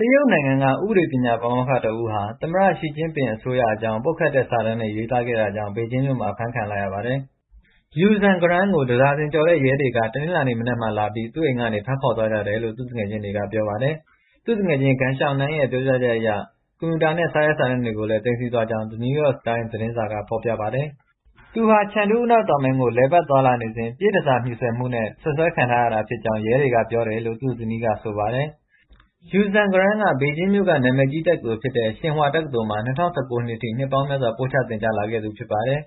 တရုတ်နိုင်ငံက ဥပဒေပညာပါမောက္ခ တစ်ဦးဟာ သမ္မတ Xi Jinping အစိုးရအကြောင်း ပုတ်ခတ်တဲ့ စာတမ်းတွေ ရေးသားခဲ့တာကြောင့် ဘေဂျင်းမြို့မှာ အဖမ်းခံလိုက်ရပါတယ်။ Xu Zhangrun ကို တဒါဇင်ကျော်တဲ့ရဲတွေက တနင်္လာနေ့မနက်က သူ့အိမ်ကနေ ဖမ်းဆီး ခေါ်ဆောင်သွားကြတယ်လို့ သူ့မိတ်ဆွေတွေက ပြောပါတယ်။ သူ့မိတ်ဆွေ Geng Xiaonan ရဲ့ပြောပြချက်အရ ကွန်ပြူတာတွေ နဲ့ စာရွက်စာတမ်းတွေကိုလည်း သိမ်းဆည်းသွားကြောင်း The New York Times သတင်းစာက ဖော်ပြပါတယ်။ Xu ဟာ Chengdu အနောက်တောင်ပိုင်းကို လည်ပတ်သွားလာနေစဉ် ပြည့်တန်ဆာ မြှူဆွယ်မှုနဲ့ စွပ်စွဲခံထားရတာဖြစ်ကြောင်း ရဲတွေကပြောတယ်လို့ သူ့ဇနီးက ဆိုပါတယ်။ Xu Zhangrun ကဘေဂျင်းမြို့က နာမည်ကြီးတက္ကသိုလ်ဖြစ်တဲ့ Tsignhua တက္ကသိုလ်မှာ ၂၀၁၉ နှစ်အထိ နှစ်ပေါင်းများစွာပို့ချသင်ကြား လာခဲ့သူ ဖြစ်ပါတယ်